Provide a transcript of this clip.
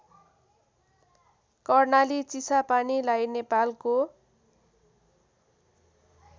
कर्णाली चिसापानीलाई नेपालको